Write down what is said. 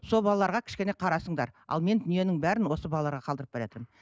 сол балаларға кішкене қарасыңдар ал мен дүниенің бәрін осы балаларға қалдырып баратырмын